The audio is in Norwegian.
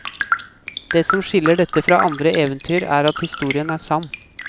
Det som skiller dette fra andre eventyr, er at historien er sann.